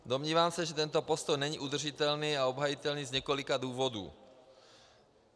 Domnívám se, že tento postoj není udržitelný a obhajitelný z několika důvodů.